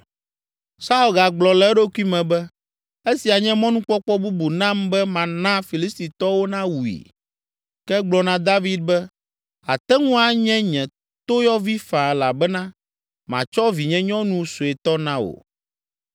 Saul gagblɔ le eɖokui me be, “Esia nye mɔnukpɔkpɔ bubu nam be mana Filistitɔwo nawui.” Ke egblɔ na David be, “Àte ŋu anye nye toyɔvi faa elabena matsɔ vinyenyɔnu suetɔ na wò.”